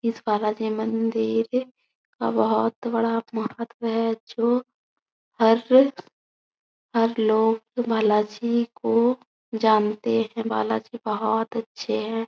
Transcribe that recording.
इस बाला जी मंदिर का बहुत बड़ा महत्व है जो हर हर लोग बाला जी को जानते हैं बाला जी बहोत अच्छे हैं।